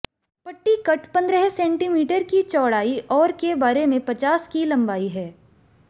पट्टी कट पंद्रह सेंटीमीटर की चौड़ाई और के बारे में पचास की लंबाई है